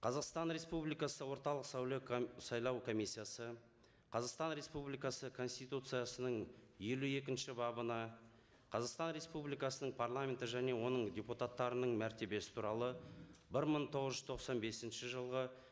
қазақстан республикасы орталық сайлау сайлау комиссиясы қазақстан республикасы конституциясының елу екінші бабына қазақстан республикасының парламенті және оның депутаттарының мәртебесі туралы бір мың тоғыз жүз тоқсан бесінші жылғы